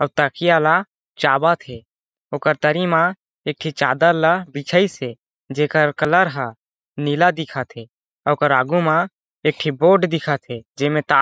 और तकिया ला चाबत हे ओकर तरी मा एक ठी चादर ला बिछाइस हे जेकर कलर ह नीला दिखत हे ओकर आगू मा एक ठी बोर्ड दिखत हे जेमे तार --